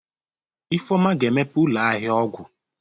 Ifeoma ga-emepe ụlọ ahịa ọgwụ.